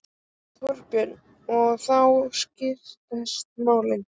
Þorbjörn: Og þá skýrast málin?